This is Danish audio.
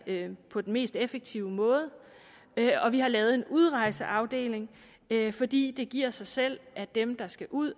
på den mest effektive måde og vi har lavet en udrejseafdeling fordi det giver sig selv at dem der skal ud